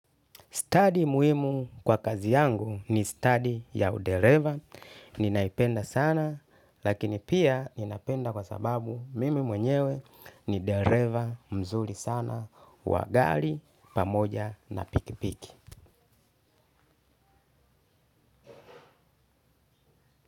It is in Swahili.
Stadi muhimu kwa kazi yangu ni stadi ya udereva. Ninaipenda sana, lakini pia ninapenda kwa sababu mimi mwenyewe ni dereva mzuri sana. Wa gari pamoja na pikipiki.